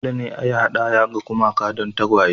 Dole ne a yi hadaya ga gumaka don tagwaye